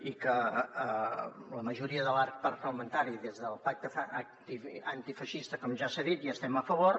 i que la majoria de l’arc parlamentari des del pacte antifeixista com ja s’ha dit hi estem a favor